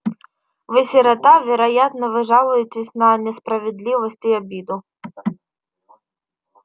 вы сирота вероятно вы жалуетесь на несправедливость и обиду